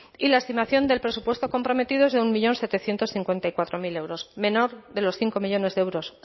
y la estimación del presupuesto comprometido es de un un millón setecientos cincuenta y cuatro mil euros menor de los cinco millónes de euros